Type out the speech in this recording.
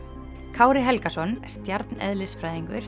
Kári Helgason